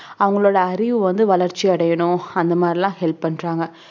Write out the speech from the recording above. அவங்களோட அறிவு வந்து வளர்ச்சி அடையணும் அந்த மாதிரிலாம் help பண்றாங்க